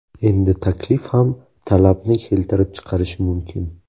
Endi taklif ham talabni keltirib chiqarishi mumkin.